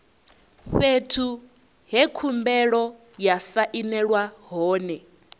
fhethu he khumbelo ya sainelwa hone